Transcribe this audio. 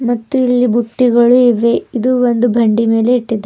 ಮತ್ತು ಇಲ್ಲಿ ಬುಟ್ಟಿಗಳು ಇವೆ ಇದು ಒಂದು ಬಂಡಿ ಮೇಲೆ ಇಟ್ಟಿದ್ದಾರೆ.